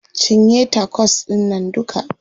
Cinye tacos ɗInnan duka.